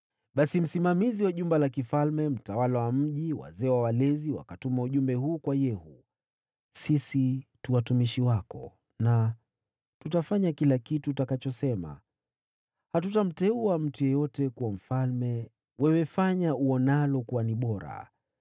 Basi msimamizi wa jumba la mfalme, mtawala wa mji, na wazee na walezi wakatuma ujumbe huu kwa Yehu: “Sisi tu watumishi wako, na tutafanya kila kitu utakachosema. Hatutamteuwa mtu yeyote kuwa mfalme. Wewe fanya uonalo kuwa ni bora.”